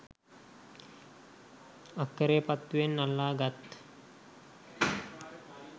අක්කෙරේපත්තුවෙන් අල්ලා ගත්